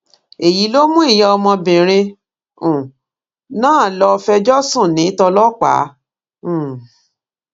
èyí ló mú ìyá ọmọbìnrin um náà lọọ fẹjọ sùn ní tọlọpàá um